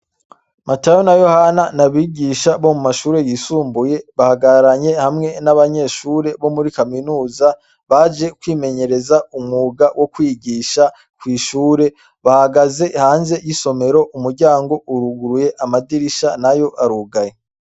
Matayo na Yohana ni abigisha bo mu mashure yisumbuye, bahagararanye hamwe n'abanyeshure bo muri kaminuza baje kwimenyereza umwuga wo kwigisha kw'ishure. Bahagaze hanze y'isomero, umuryango uruguruye, amadirisha nayo arugaye.